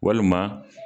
Walima